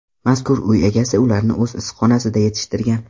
Mazkur uy egasi ularni o‘z issiqxonasida yetishtirgan.